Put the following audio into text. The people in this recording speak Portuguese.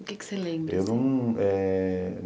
O que é que você lembra?